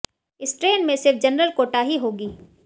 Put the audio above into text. इस ट्रेन में सिर्फ जनरल कोटा ही होगी